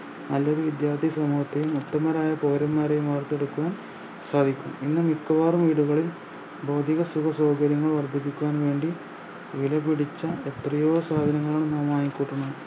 നല്ലൊരു വിദ്യാർത്ഥി സമൂഹത്തെയും ഉത്തമരായ പൗരന്മാരെയും വാർത്തെടുക്കുവാൻ സാധിക്കും ഇന്ന് മിക്കവാറും വീടുകളിൾ ഭൗതിക സുഖ സൗകര്യങ്ങൾ വർദ്ധിപ്പിക്കുവാൻ വേണ്ടി വിലപിടിച്ച എത്രയോ സാധനങ്ങളാണ് നാം വാങ്ങിക്കൂട്ടുന്നത്